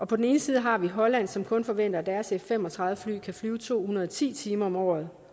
på den anden side har vi holland som kun forventer at deres f fem og tredive fly kan flyve to hundrede og ti timer om året